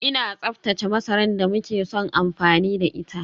Ina tsaftace masarar da muke son amfani da ita